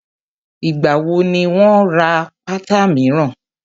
Ìgbà wo ni wà á ra pátá míràn?